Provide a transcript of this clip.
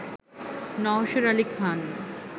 Nowsher Ali Khan